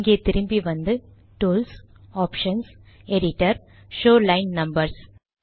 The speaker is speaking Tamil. இங்கே திரும்பி வந்து tools options Editor show line numbers